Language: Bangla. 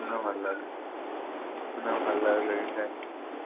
না ভালো লাগেনি । না ভালো লাগলেই